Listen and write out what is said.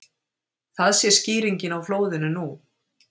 Það sé skýringin á flóðinu nú